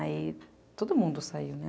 Aí todo mundo saiu, né?